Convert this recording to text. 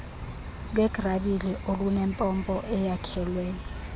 lwegrabile olunempompo eyakhelwe